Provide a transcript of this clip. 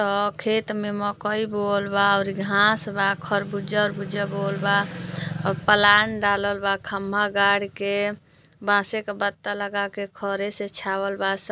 अ खेत में मकई बोवल बा। ओरी घाँस बा। खरबूजा अरबुजा बोवल बा। अ पलान डालल बा। खम्बा गाड़ के बासे क बत्ता लगा के खरे से छावल बा। स --